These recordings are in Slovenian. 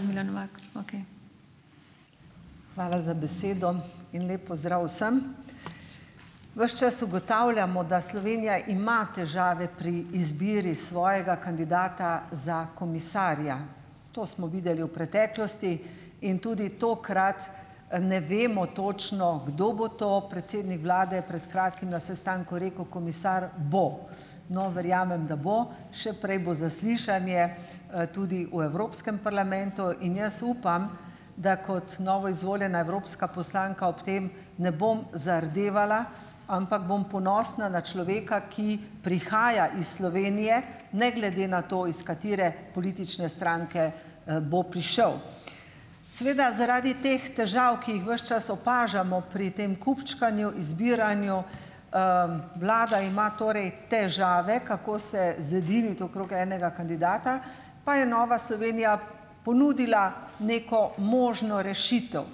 Milan Novak, okej, hvala za besedo in lep pozdrav vsem. Ves čas ugotavljamo, da Slovenija ima težave pri izbiri svojega kandidata za komisarja, to smo videli v preteklosti in tudi tokrat ne vemo točno, kdo bo to, predsednik vlade je pred kratkim na sestanku rekel: "Komisar bo." No, verjamem da bo, še prej bo zaslišanje, tudi v Evropskem parlamentu in jaz upam, da kot novoizvoljena evropska poslanka ob tem ne bom zardevala, ampak bom ponosna na človeka, ki prihaja iz Slovenije, ne glede na to, iz katere politične stranke, bo prišel, seveda zaradi teh težav, ki jih ves čas opažamo pri tem kupčkanju, izbiranju, vlada ima torej težave, kako se zediniti okrog enega kandidata, pa je Nova Slovenija ponudila neko možno rešitev,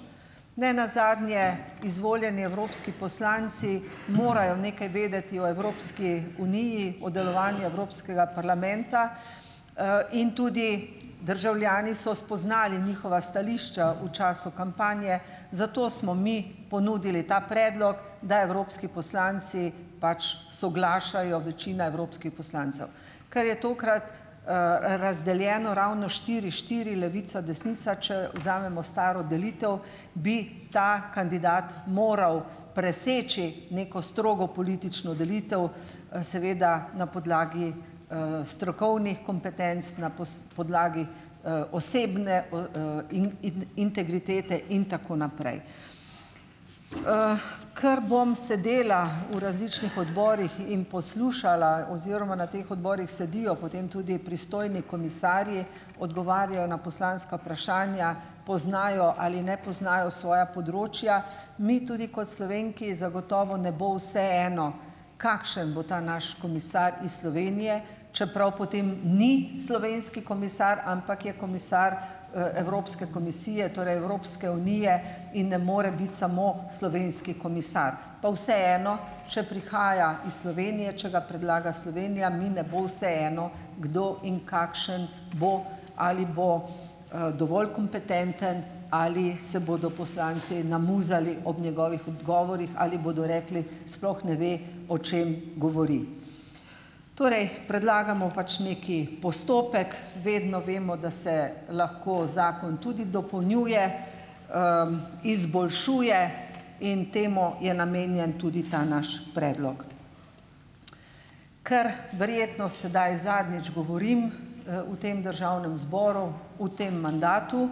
nenazadnje izvoljeni evropski poslanci morajo nekaj vedeti o Evropski uniji, o delovanju Evropskega parlamenta, in tudi državljani so spoznali njihova stališča v času kampanje, zato smo mi ponudili ta predlog, da evropski poslanci pač soglašajo, večina evropskih poslancev, ker je tokrat, razdeljeno ravno štiri štiri levica desnica, če vzamemo staro delitev, bi ta kandidat moral preseči neko strogo politično delitev, seveda na podlagi, strokovnih kompetenc na podlagi, osebne o, integritete in tako naprej, ker bom sedela v različnih odborih in poslušala, oziroma na teh odborih sedijo potem tudi pristojni komisarji, odgovarjajo na poslanska vprašanja, poznajo ali ne poznajo svoja področja, mi tudi kot Slovenki zagotovo ne bo vseeno, kakšen bo ta naš komisar iz Slovenije, čeprav potem ni slovenski komisar, ampak je komisar, Evropske komisije, torej Evropske unije, in ne more biti samo slovenski komisar, pa vseeno, če prihaja iz Slovenije, če ga predlaga Slovenija, mi ne bo vseeno, kdo in kakšen bo, ali bo, dovolj kompetenten, ali se bodo poslanci namuzali ob njegovih odgovorih, ali bodo rekli: "Sploh ne ve, o čem govori." Torej predlagamo pač neki postopek vedno vemo, da se lahko zakon tudi dopolnjuje, izboljšuje in temu je namenjen tudi ta naš predlog. Ker verjetno sedaj zadnjič govorim, v tem državnem zboru, v tem mandatu,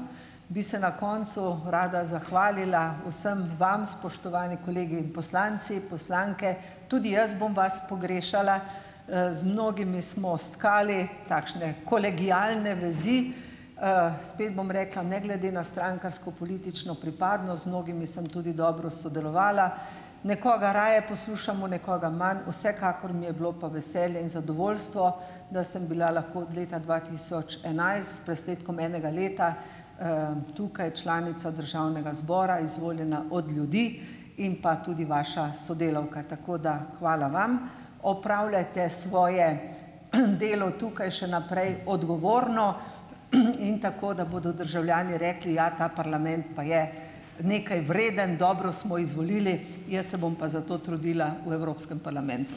bi se na koncu rada zahvalila vsem vam, spoštovani kolegi in poslanci, poslanke, tudi jaz bom vas pogrešala, z mnogimi smo stkali takšne kolegialne vezi, spet bom rekla, ne glede na strankarsko politično pripadnost, z mnogimi sem tudi dobro sodelovala, nekoga raje poslušamo, nekoga manj, vsekakor mi je bilo pa veselje in zadovoljstvo, da sem bila lahko od leta dva tisoč enajst s presledkom enega leta, tukaj članica državnega zbora, izvoljena od ljudi, in pa tudi vaša sodelavka, tako da hvala vam, opravljajte svoje delo tukaj še naprej odgovorno in tako, da bodo državljani rekli: "Ja, ta parlament pa je nekaj vreden, dobro smo izvolili." Jaz se bom pa za to trudila v Evropskem parlamentu.